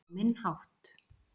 Á minn hátt